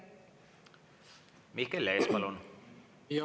Mihkel Lees, palun!